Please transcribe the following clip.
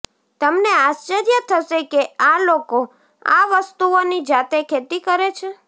તમને આશ્ચર્ય થશે કે આ લોકો આ વસ્તુઓની જાતે ખેતી કરે છે